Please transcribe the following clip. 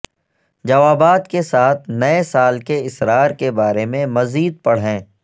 جوابات کے ساتھ نئے سال کے اسرار کے بارے میں مزید پڑھیں